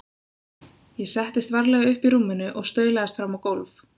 Ég settist varlega upp í rúminu og staulaðist fram á gólf.